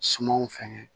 Sumanw fɛŋɛ